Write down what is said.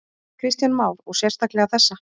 Kristján Már: Og sérstaklega þessa?